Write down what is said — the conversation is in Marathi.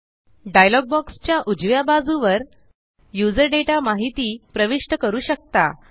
डायलॉग बॉक्स च्या उजव्या बाजूवर युजर डेटा माहिती प्रविष्ट करू शकता